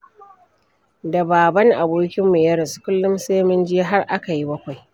Da baban abokinmu ya rasu, kullum sai mun je har aka yi bakwai.